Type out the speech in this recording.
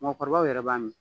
Mɔɔkɔrɔbaw yɛrɛ b'a min.